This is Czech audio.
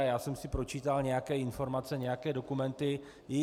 A já jsem si pročítal nějaké informace, nějaké dokumenty.